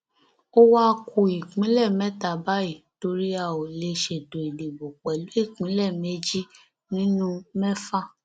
ó wáá ku ìpínlẹ mẹta báyìí torí a ò lè ṣètò ìdìbò pẹlú ìpínlẹ méjì nínú mẹfà